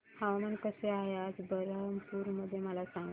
हवामान कसे आहे आज बरहमपुर मध्ये मला सांगा